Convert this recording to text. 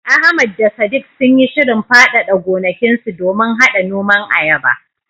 Ahmad da Sadiq sun yi shirin faɗaɗa gonakinsu domin haɗa noman ayaba.